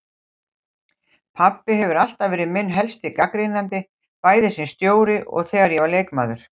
Pabbi hefur alltaf verið minn helsti gagnrýnandi, bæði sem stjóri og þegar ég var leikmaður.